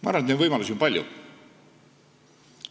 Ma arvan, et neid võimalusi on palju.